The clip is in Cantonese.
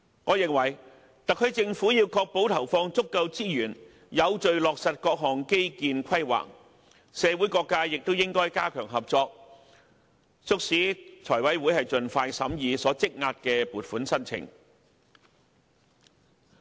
我認為特區政府要確保投放足夠資源，有秩序地落實各項基建規劃，社會各界亦應加強合作，促使財委會盡快審議積壓的撥款申請。